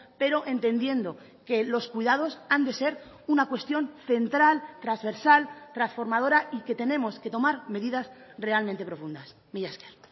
pero entendiendo que los cuidados han de ser una cuestión central trasversal transformadora y que tenemos que tomar medidas realmente profundas mila esker